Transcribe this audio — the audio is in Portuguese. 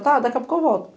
Tá daqui a pouco eu volto.